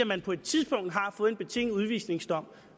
man på et tidspunkt har fået en betinget udvisningsdom